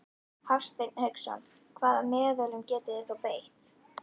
Hafsteinn Hauksson: Hvaða meðölum getið þið þá beitt?